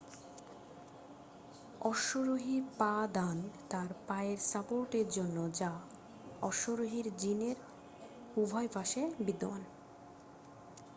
অশ্বরোহীর পা-দান তার পায়ের সাপোর্টের জন্য যা অশ্বরোহীর জিনের উভয় পাশে বিদ্যমান